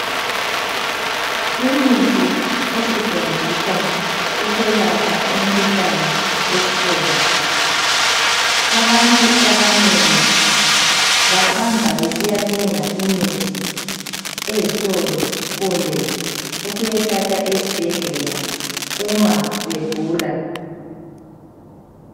Imithi esetshenziswa ukwelapha imikhuhlane yesifuba abantu abanengi bahamba ukuyathenga ezitolo kumbe ukuyathatha esibhedlela uma begula.